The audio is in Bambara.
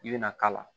I bɛna k'a la